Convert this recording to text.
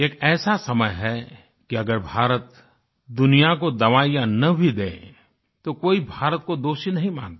एक ऐसा समय है की अगर भारत दुनिया को दवाईयां न भी दे तो कोई भारत को दोषी नहीं मानता